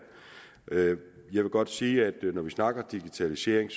jeg vil godt sige at når vi snakker digitalisering